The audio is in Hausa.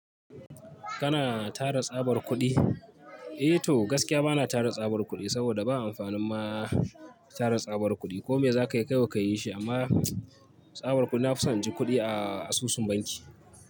Kana tara tsabar kuɗi? Eh toh gaskiya bana tara tsabar kuɗi, saboda ba amfanin ma tara tsabar kuɗi. Ko me za ka kayi kawai ka yi shi amma tsabar kuɗi na fi son inji kuɗi a asusun banki.